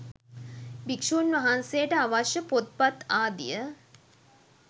භික්‍ෂූන් වහන්සේට අවශ්‍ය පොත් පත් ආදිය